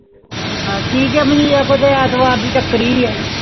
ਹੈ ਠ੍ਕ ਆ ਮੋਨਿ ਐਤਵਾਰ ਦੀ ਕਾਰਕਾਰੀ ਆ CHURCH